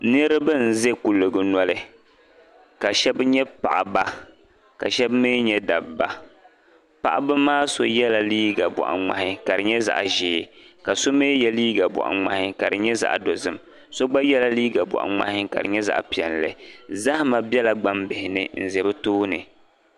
Niriba n za kuliga noli ka shɛb nyɛ paɣa ba ka shɛb mi nyɛ dabba paɣaba maa shɛb yɛla liiga bɔɣu ŋmahi ka di nyɛ zaɣa ʒee ka so mi ye liiga bɔɣu ŋmahi ka di nyɛ zaɣi dozim so gba yɛla liiga bɔɣiri ŋmahi ka di nyɛ zaɣi piɛli zahama bela gban bihi ni m za bɛ tooni